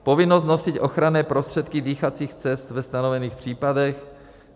povinnost nosit ochranné prostředky dýchacích cest ve stanovených případech,